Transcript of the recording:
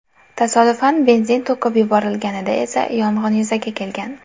Tasodifan benzin to‘kib yuborilganida esa yong‘in yuzaga kelgan.